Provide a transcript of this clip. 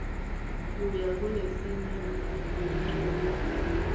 kuya kulesinye ngekuncuma